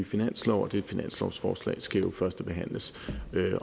finanslov og det finanslovsforslag skal jo førstebehandles